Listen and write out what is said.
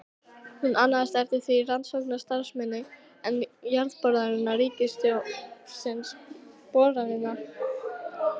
Hún annaðist eftir það rannsóknastarfsemina, en Jarðboranir ríkisins boranirnar.